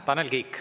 Tanel Kiik.